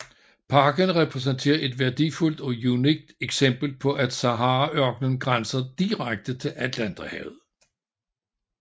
Parken repræsenterer et værdifuldt og unikt eksempel på at Saharaørkenen grænser direkte til Atlanterhavet